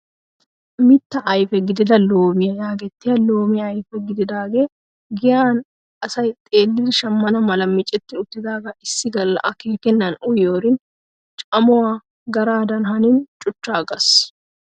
Mittaa ayfe gidida loomiyaa yaagettiyaa loomiyaa ayfe gididagee giyaan asay xeellidi shammana mala micetti uttidagaa issi galla akeekennan uyiyoorin camuwaa garaadan hanin cuchchagas!